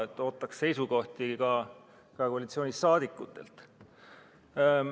Nii et ootaks seisukohti ka koalitsiooniliikmetelt.